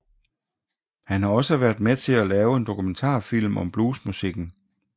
Han har også været med til at lave en dokumentarfilm om bluesmusikken